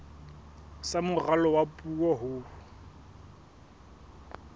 sa moralo wa puo ho